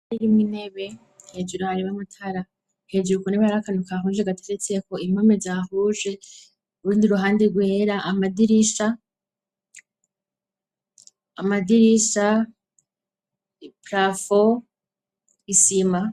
Irimwo inebe hejuru hari b'amatara hejuru ku nebe yar akanu kahuje gateretse ko impame zahuje rundi ruhande rwera amadirisha prafo isima.